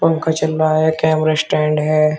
पंखा चल रहा है कैमरा स्टैंड है।